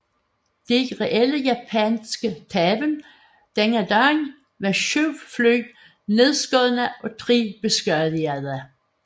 De reelle japanske tab denne dag var syv fly nedskudt og tre beskadigede